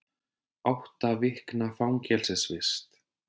Átta vikna fangelsisvist